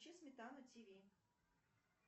включи сметана тв